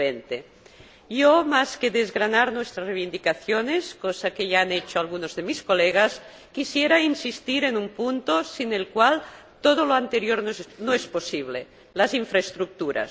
2020. Yo, más que desgranar nuestras reivindicaciones, cosa que ya han hecho algunos de mis colegas, quisiera insistir en un punto sin el cual todo lo anterior no es posible las infraestructuras.